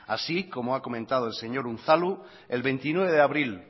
así como ha comentado el señor unzalu el veintinueve de abril